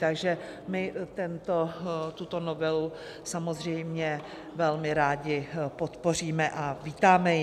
Takže my tuto novelu samozřejmě velmi rádi podpoříme a vítáme ji.